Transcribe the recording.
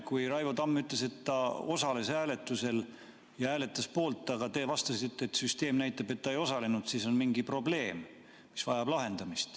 Kui Raivo Tamm ütles, et ta osales hääletusel ja hääletas poolt, aga te vastasite, et süsteem näitab, et ta ei osalenud, siis on mingi probleem, mis vajab lahendamist.